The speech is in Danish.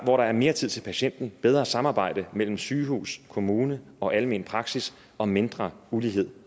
hvor der er mere tid til patienten bedre samarbejde mellem sygehus kommune og almen praksis og mindre ulighed